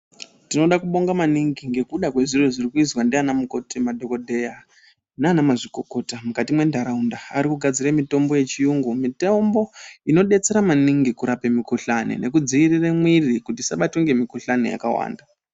Tinoda kubonga maningi ngekuda kwezviro zvirikuizwa ndana mukoti nemadhogodheya nana mazvikokota mukati mwendaraunda arikugadzira mitombo yechiyungu. Mitombo inodetsera maningi kurapa mikuhlani nekudzivirira mwiri kuti isabatwe ngemikuhlani yakawanda.